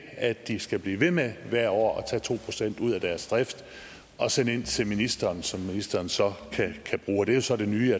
at de skal blive ved med hvert år at tage to procent ud af deres drift og sende ind til ministeren som ministeren så kan bruge det er så det nye